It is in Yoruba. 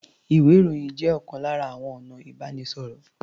Ìwé-ìròyìn jẹ́ ọ̀kan lára àwọn ọ̀nà ìbánisọ̀rọ̀.